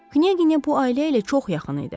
Knyaginya bu ailə ilə çox yaxın idi.